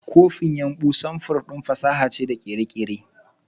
Copin yumbu sanfur fasaha da kere-kere ne.